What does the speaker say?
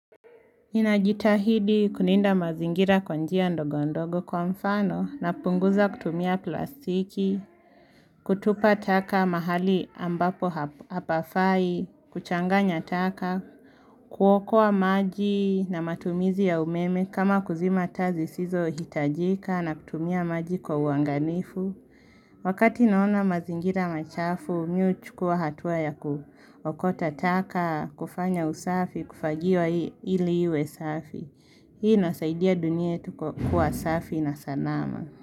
Ninajitahidi kulinda mazingira kwanjia ndogo ndogo kwa mfano na punguza kutumia plastiki, kutupa taka mahali ambapo hapafai, kuchanganya taka, kuokoa maji na matumizi ya umeme kama kuzima taa zisizo hitajika na kutumia maji kwa uangalifu. Wakati naona mazingira machafu, mimi huchukua hatuwa ya kuokota taka, kufanya usafi, kufagia ili iwe safi. Hii inasaidia dunia yetu kwa kua safi na salama.